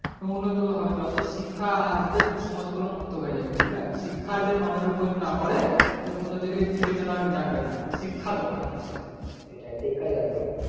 হুম উন্নত হবে যতো শিক্ষা আসবে কুসমস্কার গুলো মুক্ত হয়ে যাবে বুঝলা শিক্ষা যদি মানুষ এর ওপরে যদি না পরে তো কোনো দিকে চেতনা জাগবেনা শিক্ষা দরকার মানুষ এর সেটাই শিক্ষা দরকার মানুষ এর